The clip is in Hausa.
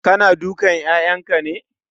Kana dukan 'ya'yanka ne?